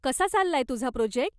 कसा चाललाय तुझा प्रोजेक्ट?